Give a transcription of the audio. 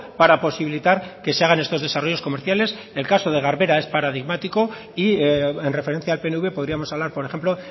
para posibilitar que se hagan estos desarrollos comerciales el caso de garbera es paradigmático y en referencia al pnv podríamos hablar por ejemplo